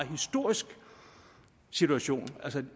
historisk situation